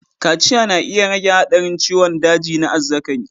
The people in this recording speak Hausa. Kaciya na iya rage haɗarin ciwon daji na azzakari.